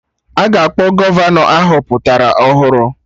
Aga akpọ Gọvanọ ahọpụtara ọhụrụ